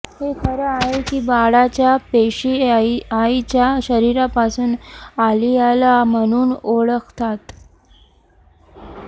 हे खरं आहे की बाळाच्या पेशी आईच्या शरीरापासून अलियाला म्हणून ओळखतात